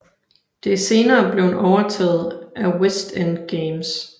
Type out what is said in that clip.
Det er senere blevet overtaget af West End Games